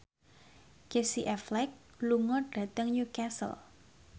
Casey Affleck lunga dhateng Newcastle